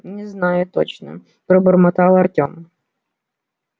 не знаю точно пробормотал артем